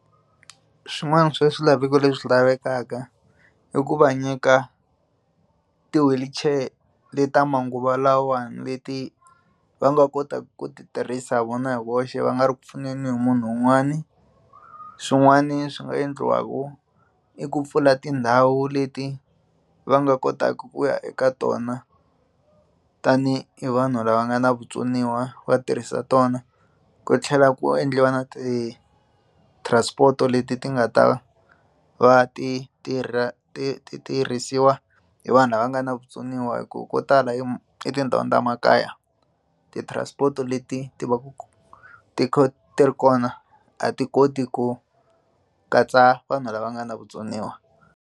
Swin'wana swa swilaveko leswi lavekaka i ku va nyika ti wheelchair le ta manguva lawa leti va nga kotaka ku ti tirhisa vona hi voxe va nga ri ku pfuneni munhu un'wani swin'wani swi nga endliwaka i ku pfula tindhawu leti va nga kotaka ku ya eka tona tani hi vanhu lava nga na vutsoniwa va tirhisa tona ku tlhela ku endliwa na ti transport leti ti nga ta va ti tirha ti tirhisiwa hi vanhu lava nga na vutsoniwa hi ku ko tala i emakaya ti transport leti ti va ku ti ti ri kona a ti koti ku katsa vanhu lava nga na vutsoniwa.